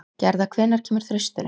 Gerða, hvenær kemur þristurinn?